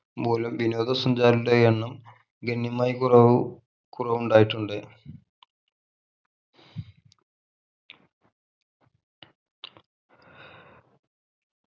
മൂലം വിനോദ സഞ്ചാരിയുടെ എണ്ണം ഗണ്യമായി കുറവ് കുറവു ഉണ്ടായിട്ടുണ്ട്